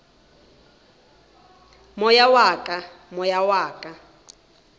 moya wa ka moya wa